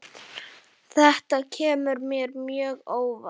Þetta kemur mér mjög óvart.